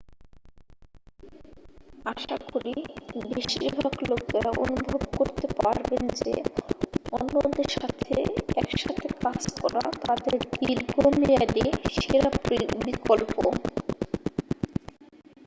আশা করি বেশিরভাগ লোকেরা অনুভব করতে পারবেন যে অন্যদের সাথে একসাথে কাজ করা তাদের দীর্ঘমেয়াদী সেরা বিকল্প